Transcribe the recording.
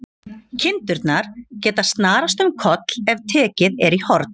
Kindurnar geta snarast um koll ef tekið er í horn.